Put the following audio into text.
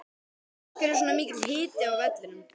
Af hverju var svona mikill hiti á vellinum?